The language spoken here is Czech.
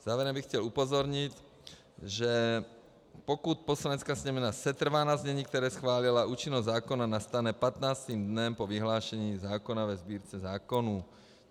Závěrem bych chtěl upozornit, že pokud Poslanecká sněmovna setrvá na znění, které schválila, účinnost zákona nastane 15. dnem po vyhlášení zákona ve Sbírce zákonů.